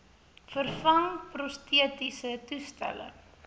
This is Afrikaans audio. vervang prostetiese toestelle